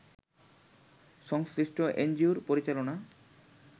সংশ্লিষ্ট এনজিও’র পরিচালনা